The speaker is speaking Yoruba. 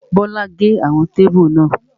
Bíọ́lá gé àwọn kébù náà